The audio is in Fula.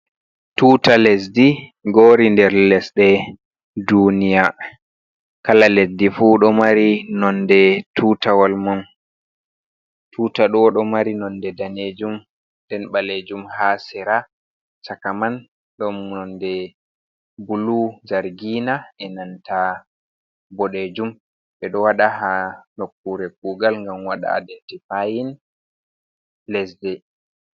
Tuta lesdi ngori nder lesɗe duniya. Kala lesdi fu don nonde tutawol mun. Tuta ɗo ɗo mari nonde danejum, nden balejum ha sera, chaka man ɗon nonde bulu (zargina) e'nanta bodejum. Ɓeɗo wada ha nokkure kugal ngam waɗa identifayin lesde.